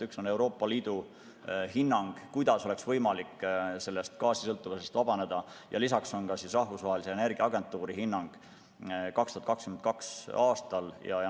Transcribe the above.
Üks on Euroopa Liidu hinnang, kuidas oleks võimalik sellest gaasisõltuvusest vabaneda, ja lisaks on ka Rahvusvahelise Energiaagentuuri hinnang 2022. aastal.